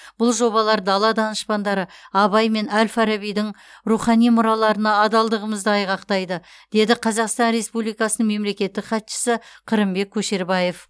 бұл жобалар дала данышпандары абай мен әл фарабидің рухани мұраларына адалдығымызды айғақтайды деді қазақстан республикасының мемлекеттік хатшысы қырымбек көшербаев